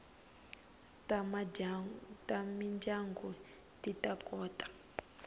ta mindyangu ti ta kota